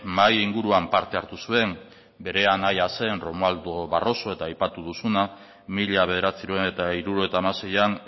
mahai inguruan parte hartu zuen bere anaia zen romualdo barroso eta aipatu duzuna mila bederatziehun eta hirurogeita hamaseian